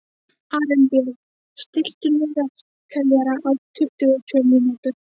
Arinbjörn, stilltu niðurteljara á tuttugu og sjö mínútur.